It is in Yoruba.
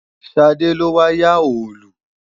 Ṣadé ló wá yá Òòlù